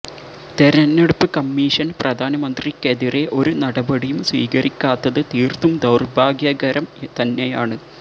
തെരഞ്ഞെടുപ്പ് കമ്മീഷൻ പ്രധാനമന്ത്രിക്കെതിരെ ഒരു നടപടിയും സ്വീകരിക്കാത്തത് തീർത്തും ദൌർഭാഗ്യകരം തന്നെയാണ്